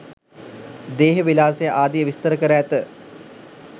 දේහ විලාසය ආදිය විස්තර කර ඇත.